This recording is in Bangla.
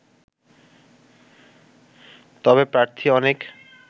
তবে প্রার্থী অনেক